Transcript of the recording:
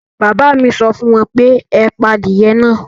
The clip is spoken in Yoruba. Bàbá à mi sọ fún wọn pé; ẹ pa adìye náà